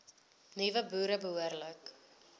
nuwe boere behoorlik